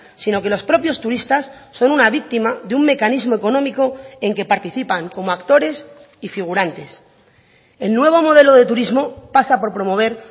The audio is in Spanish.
sino que los propios turistas son una víctima de un mecanismo económico en que participan como actores y figurantes el nuevo modelo de turismo pasa por promover